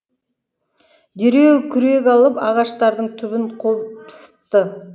дереу күрек алып ағаштардың түбін қопсытты